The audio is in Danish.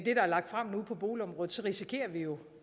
er lagt frem nu på boligområdet risikerer vi jo